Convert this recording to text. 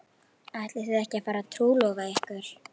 Ætlið þið að fara að trúlofa ykkur?